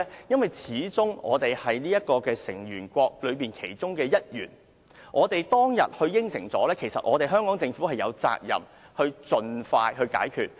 因為始終我們是巴塞爾委員會的成員，我們當天答應了，香港政府有責任盡快落實。